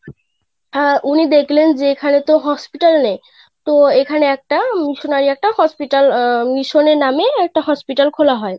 আহ উনি দেখলেন এখানে তো hospital নেই তো এখানে একটা আহ missionary একটা Hospital আহ mission নামে একটা Hospital খোলা হয়.